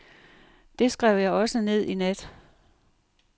Det skrev jeg også ned i nat.